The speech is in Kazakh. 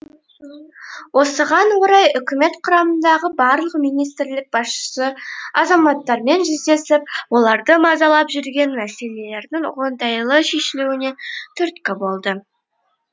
осыған орай үкімет құрамындағы барлық министрлік басшысы азаматтармен жүздесіп оларды мазалап жүрген мәселелердің оңтайлы шешілуіне түрткі болды